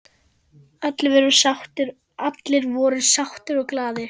Allir voru sáttir og glaðir.